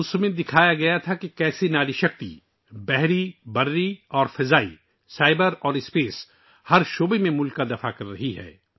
اس سے پتہ چلتا ہے کہ کس طرح خواتین کی طاقت پانی، زمین، آسمان، سائبر اور خلا ہر شعبے میں ملک کی حفاظت کر رہی ہے